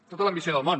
tota l’ambició del món